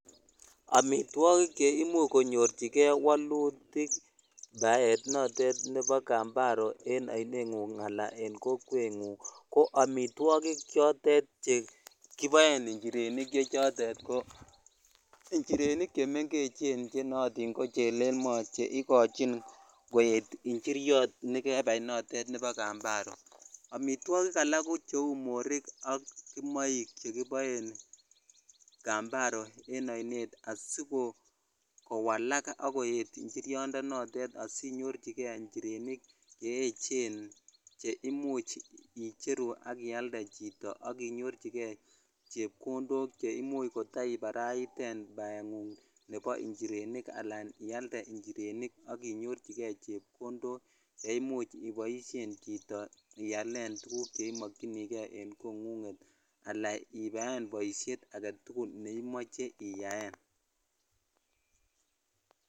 Amitwokik cheimuch konyorchike wolutik baet noton nebo kambaro en oineng'ung alaa en kokwng'ung ko amitwokik chotet chekiboen nchirenik che chotet ko njirenik chemeng'echen chenootin ko chelelmo che ikochin koet njiriot notet nebo kambaro, amitwokik alak ko cheuu morik ak kimoik chekiboen kambaro en oinet asikowalak ak koet njiriondo notet asinyorchike njirenik che echen che imuch icheru ak ialde chito ak inyorchike chepkondok cheimuch iteibaraiten baeng'ung nebo nchirenik alaan ialde nchirenik ak inyorchike chepkondok cheimuch iboishen chito ialen chito tukuk cheimokyinike en kong'unget alaa iyaen boishet aketukul neimoche iyaen.